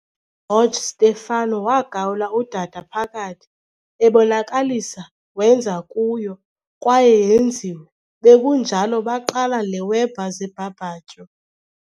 uGeorge Stefano wagawula udada phakathi, ebonakalisa wenza kuyo, kwaye yenziwe, bekunjalo baqala le Weber zeBBQ